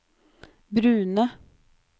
brune